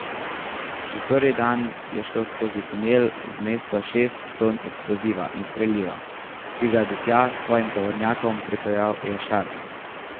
Že prvi dan je šlo skozi tunel v mesto šest ton eksploziva in streliva, ki ga je do tja s svojim tovornjakom pripeljal Jašar.